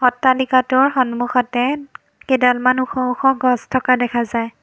অত্তলিকটোৰ সন্মুখতে কেইডালমান ওখ ওখ গছ থকা দেখা যায়।